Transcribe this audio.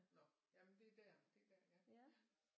Nå jamen det er der det er der ja